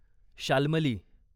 Shalmali